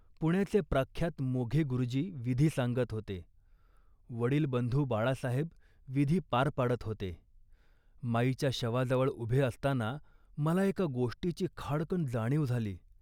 पुण्याचे प्रख्यात मोघे गुरुजी विधी सांगत होते, वडील बंधू बाळासाहेब विधी पार पाडत होते. माईच्या शवाजवळ उभे असताना मला एका गोष्टीची खाडकन जाणीव झाली